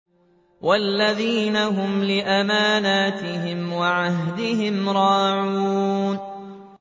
وَالَّذِينَ هُمْ لِأَمَانَاتِهِمْ وَعَهْدِهِمْ رَاعُونَ